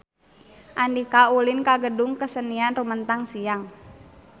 Andika ulin ka Gedung Kesenian Rumetang Siang